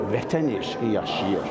Vətən eşqi yaşayır.